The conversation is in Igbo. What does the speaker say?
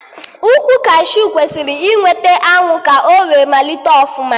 Ukwu kashiu kwesịrị ị nweta anwụ ka o wee malite ọfụma